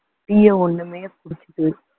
tea அ ஒண்ணுமே குடிச்சுட்டு